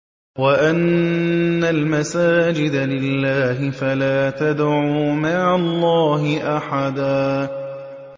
وَأَنَّ الْمَسَاجِدَ لِلَّهِ فَلَا تَدْعُوا مَعَ اللَّهِ أَحَدًا